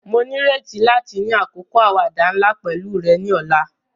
Mo nírètí láti ni àkókò àwàdà nla pẹ̀lu rẹ ni ọ̀la.